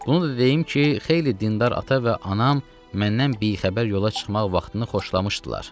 Bunu da deyim ki, xeyli dindar ata və anam məndən bixəbər yola çıxmaq vaxtını xoşlamışdılar.